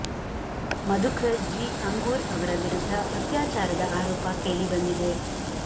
ಮಧುಕರ್ ಜಿ ಅಂಗೂರ್ ಅವರ ವಿರುದ್ಧ ಅತ್ಯಾಚಾರದ ಆರೋಪ ಕೇಳಿ ಬಂದಿದೆ